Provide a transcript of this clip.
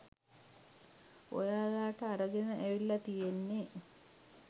ඔයාලට අරගෙන ඇවිල්ල තියෙන්නෙ